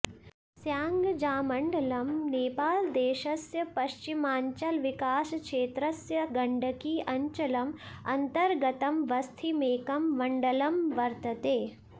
स्याङ्जामण्डलम् नेपालदेशस्य पश्चिमाञ्चलविकासक्षेत्रस्य गण्डकी अञ्चलम् अन्तर्गतमवस्थितमेकं मण्डलं वर्तते